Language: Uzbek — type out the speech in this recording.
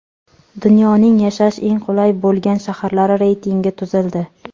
Dunyoning yashash eng qulay bo‘lgan shaharlari reytingi tuzildi.